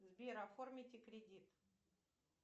сбер оформите кредит